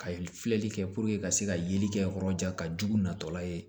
Ka filɛli kɛ ka se ka yeli kɛ yɔrɔ jan ka jugu natɔla ye